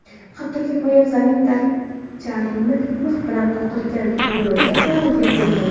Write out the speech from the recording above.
Hattoki, poyabzalining tagcharmi mix bilan qoqilgan yo‘lovchilar parvozga qo‘yilmagan.